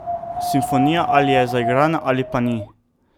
Simfonija ali je zaigrana ali pa ni.